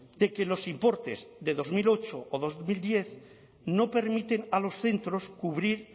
de que los importes de dos mil ocho o dos mil diez no permiten a los centros cubrir